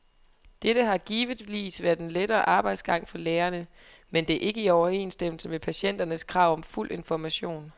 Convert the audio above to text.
Dette har givetvis været en lettere arbejdsgang for lægerne, men det er ikke i overensstemmelse med patienternes krav om fuld information.